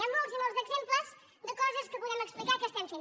n’hi han molts i molts d’exemples de coses que podem explicar que estem fent